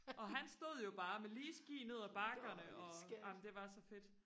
og han stod jo bare med lige ski ned af bakkerne og ej men det var så fedt